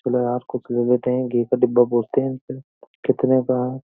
चलो यार कुछ ले लेते है। घी का डिब्बा पूछते हैं इनसे कितने का है।